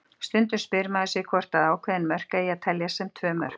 Stundum spyr maður sig hvort að ákveðin mörk eigi að telja sem tvö mörk.